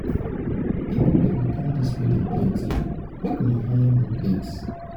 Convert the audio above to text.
people wey go come dis wedding plenty make una hire more plates